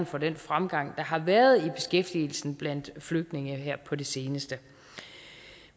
for den fremgang der har været i beskæftigelsen blandt flygtninge her på det seneste